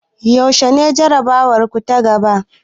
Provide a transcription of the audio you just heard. Yaushe ne jarabawarku ta gaba?